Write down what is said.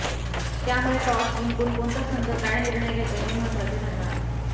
त्यामुळे टॉस जिंकून कोणता संघ काय निर्णय घेतो हे महत्त्वाचे ठरणार